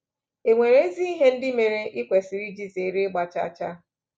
È nwere ezi ihe ndị mere i kwesịrị iji zere ịgba chaa chaa?